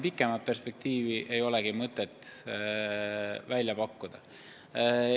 Pikemat perspektiivi ei olegi praegu mõtet välja pakkuda.